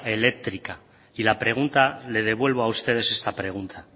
eléctrica y la pregunta les devuelvo a ustedes esta pregunta